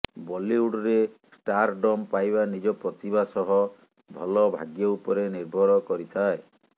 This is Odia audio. ବଲିଉଡରେ ଷ୍ଟାରଡମ୍ ପାଇବା ନିଜ ପ୍ରତିଭା ସହ ଭଲ ଭାଗ୍ୟ ଉପରେ ନିର୍ଭର କରିଥାଏ